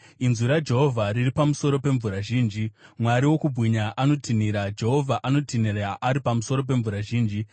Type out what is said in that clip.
Inzwi raJehovha riri pamusoro pemvura zhinji. Mwari wokubwinya anotinhira, Jehovha anotinhira ari pamusoro pemvura zhinji.